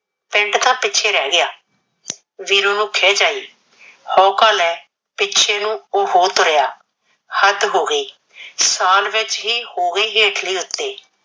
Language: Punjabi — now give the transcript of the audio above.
ਪਿੰਡ ਤਾਂ ਪਿੱਛੇ ਰਹਿ ਗਿਆ। ਵੀਰੂ ਨੂੰ ਖਿੱਝ ਆਈ, ਹਊਕਾ ਲੈ ਪਿੱਛੇ ਨੂੰ ਉਹ ਹੋ ਤੁਰਿਆ। ਹੱਦ ਹੋ ਗਈ, ਸਾਲ ਵਿਚ ਹੀ ਹੋਵੇ ਹੇਠਲੇ ਉਤੇ